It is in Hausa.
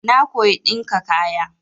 Na koyi ɗinka kaya.